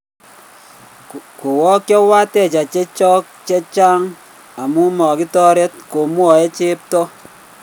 Kowaakchio wateja chechook chechaang' amun magitaareet" komwaa cheptoo